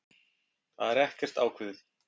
Það er ekkert ákveðið.